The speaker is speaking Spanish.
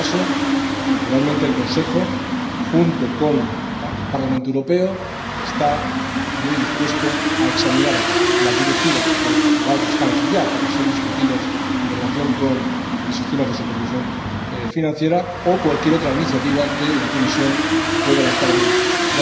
En todo caso, naturalmente el Consejo, junto con el Parlamento Europeo, está muy dispuesto a examinar las directivas que están aquí ya para ser discutidas en relación con los sistemas de supervisión financiera o cualquier otra iniciativa que la Comisión pueda avanzar en ese sentido.